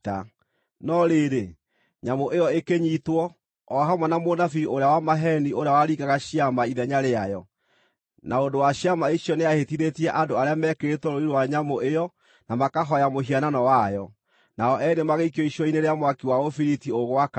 No rĩrĩ, nyamũ ĩyo ĩkĩnyiitwo, o hamwe na mũnabii ũrĩa wa maheeni ũrĩa waringaga ciama ithenya rĩayo. Na ũndũ wa ciama icio nĩahĩtithĩtie andũ arĩa mekĩrĩtwo rũũri rwa nyamũ ĩyo na makahooya mũhianano wayo. Nao eerĩ magĩikio icua-inĩ rĩa mwaki wa ũbiriti ũgwakana.